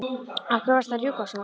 Af hverju varstu að rjúka svona út?